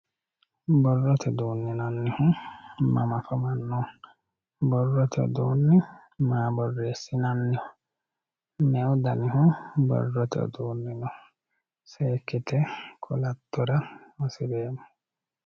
borrote uduunne yinannihu mama afamanno borrote uduunni maa borreessinanniho me"u danihu borrote uduunni no seekkite qolattora hasireemmo